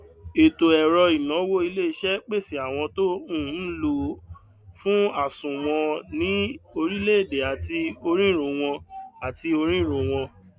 ètò ẹrọ ìnáwó ilé iṣẹ pèsè àwọn tó um ń lò ó fún àsùnwòn ni orílẹèdè àti orírun wọn àti orírun wọn